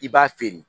I b'a feere